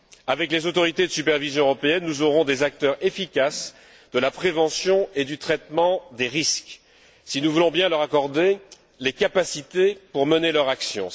Avec les autorités de supervision européenne, nous aurons des acteurs efficaces de la prévention et du traitement des risques, si voulons bien leur accorder les capacités pour mener leur action.